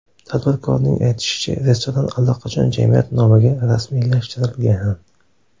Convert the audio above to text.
Tadbirkorning aytishicha, restoran allaqachon jamiyat nomiga rasmiylashtirilgan.